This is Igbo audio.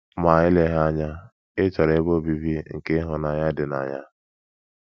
Ma eleghị anya, ị chọrọ ebe obibi nke ịhụnanya dị na ya.